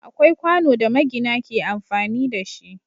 Akwai kwano da magina ke amfani da shi.